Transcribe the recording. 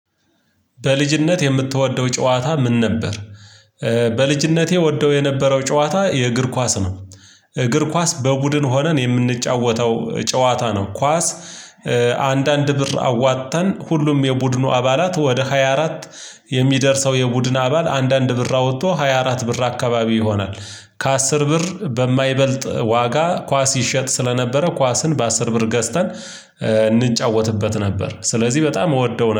በልጅነት የምትወደው ጨዋታ ምን ነበር? በልጅነቴ ወደው የነበረው ጨዋታ የእግር ኳስ ነው። እግር ኳስ በቡድን ሆነን የምንጫወተው ጨዋታ ነው ኳስ። አንዳንድ ብር አዋጥተን ሁሉም የቡድኑ አባላት ወደ ሃያ አራት የሚደርሰው የቡድን አባል አንዳአንድ ብር አውጥቶ ሃያ አራት ብር አካባቢ ይሆናል። ከአስር ብር በማይበልጥ ዋጋ ኳስ ይሸጥ ስለነበረ ኳስን በአስር ብር ገዝተን እንጫወትበት ነበር። ስለዚህ በጣም እወደው